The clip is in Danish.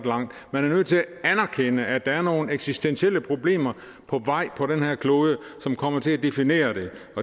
langt man er nødt til at anerkende at der er nogle eksistentielle problemer på vej på den her klode som kommer til at definere det det